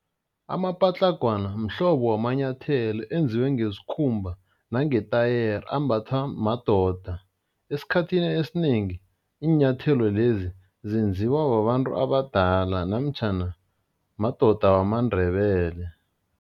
Amapatlagwana mhlobo wamanyathelo enziwe ngesikhumba nangetayere, ambathwa madoda. Esikhathini esinengi iinyathelo lezi zenziwa babantu abadala namtjhana madoda wamaNdebele.